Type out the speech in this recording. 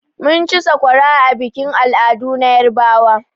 Mun ci sakwara a bikin al'adu na yarbawa.